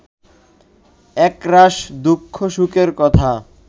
একরাশ দুঃখসুখের কথা